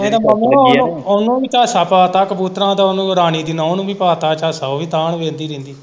ਮਨੂੰ ਆ ਉਨੂੰ, ਉਨੂੰ ਵੀ ਪਾ ਤਾਂ ਝਾਸਾਂ ਉਨੂੰ ਰਾਣੀ ਦੀ ਨੂੰਹ ਨੂੰ ਵੀ ਪਾ ਤਾ ਝਾਸਾਂ, ਉਹ ਵੀ ਤਾਹ ਨੂੰ ਹੀ ਵੇਖਦੀ ਰਹਿੰਦੀ।